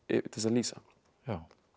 til þess að lýsa